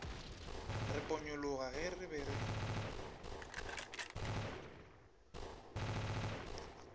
re ponyologa re be re